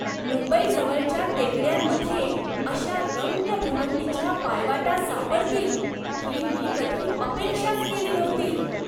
मुंबईजवळच्या टेकड्यांमध्ये अशा रम्य भ्रमंतीच्या पायवाटा सापडतील ही मी कधी अपेक्षाच केली नव्हती.